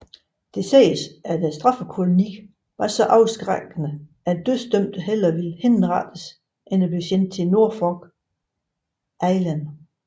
Det siges at straffekolonien var så afskrækkende at dødsdømte hellere ville henrettes end blive sendt til Norfolk Island